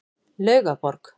Laugaborg